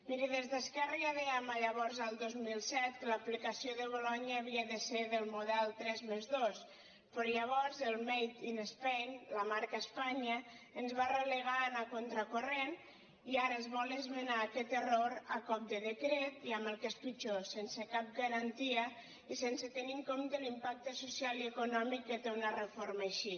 miri des d’esquerra ja dèiem llavors el dos mil set que l’aplicació de bolonya havia de ser del model tres+dos però llavors el made in spain la marca espanya ens va relegar a anar contracorrent i ara es vol esmenar aquest error a cop de decret i amb el que és pitjor sense cap garantia i sense tenir en compte l’impacte social i econòmic que té una reforma així